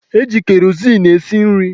Eji kerozin esi nri.